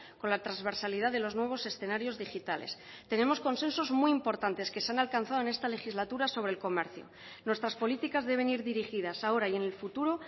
con la transversalidad de los nuevos escenarios digitales tenemos consensos muy importantes que se han alcanzado en esta legislatura sobre el comercio nuestras políticas deben ir dirigidas ahora y en el futuro